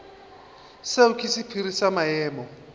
seo ke sephiri sa maemo